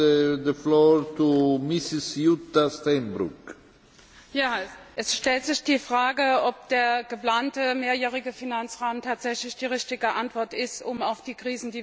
Herr Präsident! Es stellt sich die Frage, ob der geplante Mehrjährige Finanzrahmen tatsächlich die richtige Antwort ist, um auf die Krisen, die wir in Europa haben, zu reagieren.